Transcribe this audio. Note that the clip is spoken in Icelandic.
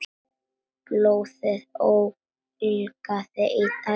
Blóðið ólgaði í æðum hans.